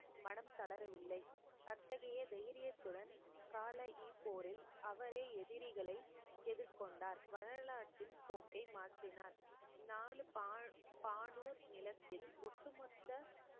மனம் தளரவில்லை அத்தகைய தைரியத்துடன் கால இப்போரில் அவரே எதிரிகளை எதிர்கொண்டார் வரலாற்றின் போக்கை மாற்றினார் பானூர் நிலத்தில் ஒட்டுமொத்த